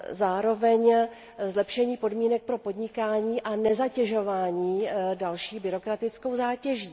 Zároveň zlepšení podmínek pro podnikání a nezatěžování další byrokratickou zátěží.